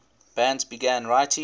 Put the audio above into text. bands began writing